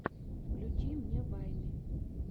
включи мне вайны